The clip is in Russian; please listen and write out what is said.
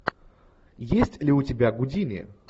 есть ли у тебя гудини